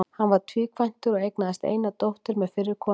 Hann var tvíkvæntur og eignaðist eina dóttur með fyrri konu sinni.